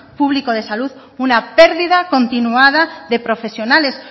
público de salud una pérdida continuada de profesionales